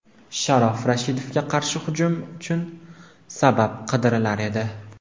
Sharof Rashidovga qarshi hujum uchun sabab qidirilar edi.